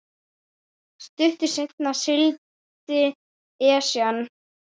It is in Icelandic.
Stuttu seinna sigldi Esjan